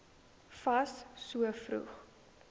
fas so vroeg